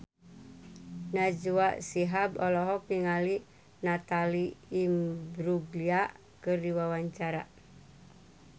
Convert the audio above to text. Najwa Shihab olohok ningali Natalie Imbruglia keur diwawancara